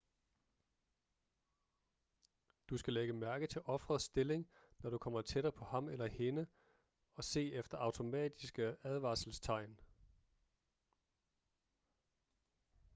du skal lægge mærke til ofrets stilling når du kommer tættere på ham eller hende og se efter automatiske advarselstegn